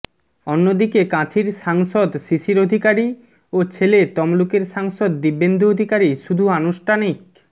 অন্যদিকে কাঁথির সাংসদ শিশির অধিকারী ও ছেলে তমলুকের সাংসদ দিব্যেন্দু অধিকারী শুধু আনুষ্ঠানিক